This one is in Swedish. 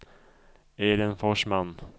Elin Forsman